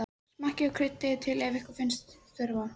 Smakkið og kryddið til ef ykkur finnst þurfa.